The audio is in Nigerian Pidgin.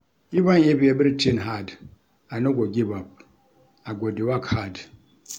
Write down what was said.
Even if everytin hard, I no go give up, I go dey work hard.